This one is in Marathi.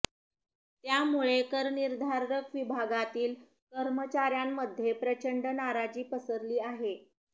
त्यामुळे करनिर्धारक विभागातील कर्मचाऱ्यांमध्ये प्रचंड नाराजी पसरली आहे